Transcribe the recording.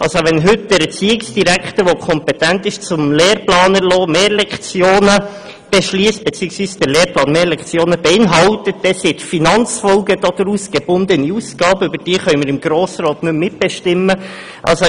» Wenn also der Erziehungsdirektor, der kompetent ist, den Lehrplan zu erlassen, heute Mehrlektionen beschliesst, bzw. der Lehrplan Mehrlektionen beinhaltet, dann sind die Finanzfolgen daraus gebundene Ausgaben, über die wir im Grossen Rat nicht mehr mitbestimmen können.